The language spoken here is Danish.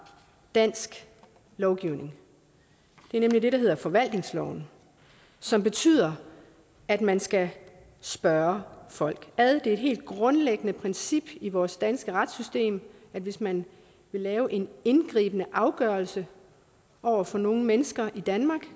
dansk lovgivning det er nemlig det der hedder forvaltningsloven som betyder at man skal spørge folk ad det er et helt grundlæggende princip i vores danske retssystem at hvis man vil lave en indgribende afgørelse over for nogle mennesker i danmark